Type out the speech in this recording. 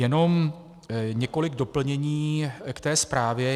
Jenom několik doplnění k té zprávě.